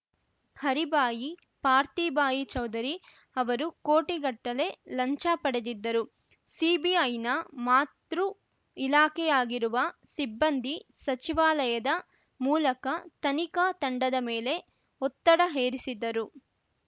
ಹರಿಭಾಯಿ ಪಾರ್ಥಿಭಾಯಿ ಚೌಧರಿ ಅವರು ಕೋಟಿಗಟ್ಟಲೆ ಲಂಚ ಪಡೆದಿದ್ದರು ಸಿಬಿಐನ ಮಾತೃ ಇಲಾಖೆಯಾಗಿರುವ ಸಿಬ್ಬಂದಿ ಸಚಿವಾಲಯದ ಮೂಲಕ ತನಿಖಾ ತಂಡದ ಮೇಲೆ ಒತ್ತಡ ಹೇರಿಸಿದ್ದರು